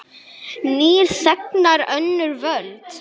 Nýir þegnar, önnur völd.